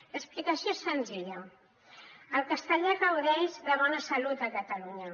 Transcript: l’explicació és senzilla el castellà gaudeix de bona salut a catalunya